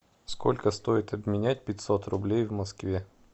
сколько стоит обменять пятьсот рублей в москве